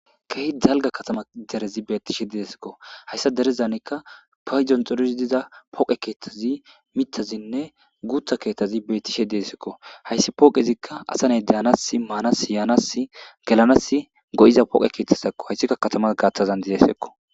Keehi dalga katama derezi beettishe deesekko hayssa derezanikka payjon xorizi diza poqe keethtazi mitazinne guutha keettazi beettishe deesekko hayssi pooqezikka asaney deanas maanas yaanas gelanas go'iza poqe keethtaz sakko haysikka katamas gaaththazan dizesekko